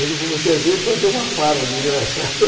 muitas vezes fazer uma farra desgraçada.